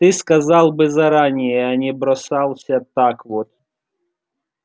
ты сказал бы заранее а не бросался так вот